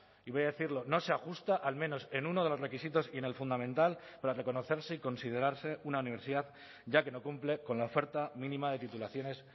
y voy a decirlo no se ajusta al menos en uno de los requisitos y en el fundamental para reconocerse y considerarse una universidad ya que no cumple con la oferta mínima de titulaciones